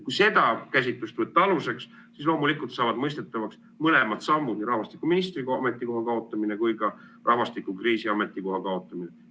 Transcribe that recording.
Kui see käsitlus võtta aluseks, siis loomulikult saavad mõistetavaks mõlemad sammud – nii rahvastikuministri ametikoha kaotamine kui ka rahvastikukriisi probleemkomisjoni kaotamine.